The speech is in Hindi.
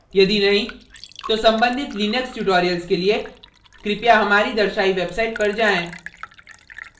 यदि नहीं तो सम्बंधित लिनक्स tutorials के लिए कृपया हमारी दर्शायी website पर जाएँ